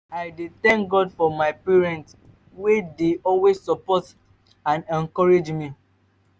i dey thank god for my partner wey dey always support and encourage me.